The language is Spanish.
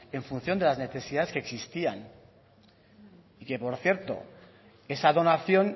en función de las necesidades que existían y que por cierto esa donación